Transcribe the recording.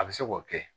A bɛ se k'o kɛ